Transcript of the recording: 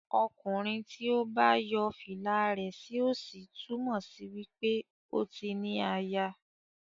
Okunrin tí o bá yo fìlà rẹ sí òsì túmò sí wípé o tí ní àyà.